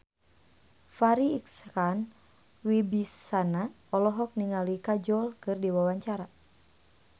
Farri Icksan Wibisana olohok ningali Kajol keur diwawancara